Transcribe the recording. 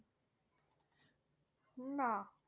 না